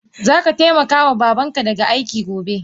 Zaka taimaka ma babanka da aiki gobe!